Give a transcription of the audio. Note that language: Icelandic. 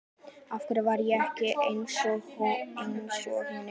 Af hverju var ég ekki einsog hinir?